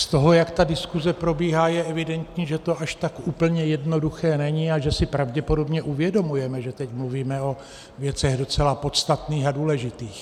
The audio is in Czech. Z toho, jak ta diskuze probíhá, je evidentní, že to až tak úplně jednoduché není a že si pravděpodobně uvědomujeme, že teď mluvíme o věcech docela podstatných a důležitých.